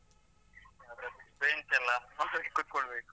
ಅದ್ರಲ್ಲಿ bench ಎಲ್ಲ ಒಂದ್ ಸರಿ ಕೂತ್ಕೊಳ್ಬೇಕು.